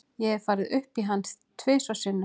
Ég hef farið upp í hann tvisvar sinnum.